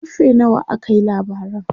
karfe nawa aka yi labaran?